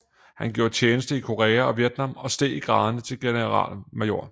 Han gjorde tjeneste i Korea og Vietnam og steg i graderne til generalmajor